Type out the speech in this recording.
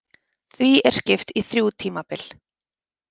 Því er skipt í þrjú tímabil.